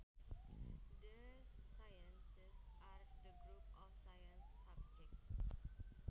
The sciences are the group of science subjects